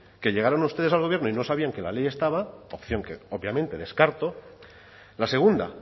que llegaran ustedes al gobierno y no sabían que la ley estaba opción que obviamente descartó la segunda